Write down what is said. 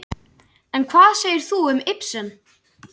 En hvað segir þú um Ibsen?